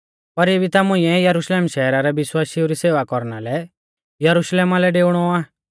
पर इबी ता मुइंऐ यरुशलेम शैहरा रै विश्वासिऊ री सेवा कौरना लै यरुशलेमा लै डेउणौ आ